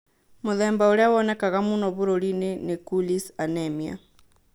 Mũthemba ũrĩa wonekaga mũno bũrũri-inĩ nĩ cooleys anemia